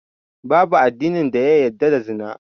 Babu addini da ya yadda da Zina